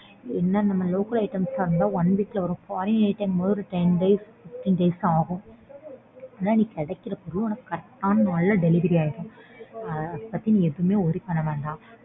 என்ன நம்ம local items ஆ இருந்தா one week ல வரும் foreign items ங்கும்போது ten days fifteen days ஆகும். ஆனா கிடைக்கிற பொருள் correct ஆன நாள்ல delivery ஆயிடும். அதபத்தி நீ எதுவுமே worry பண்ண வேண்டாம்.